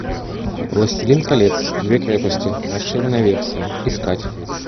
властелин колец две крепости расширенная версия искать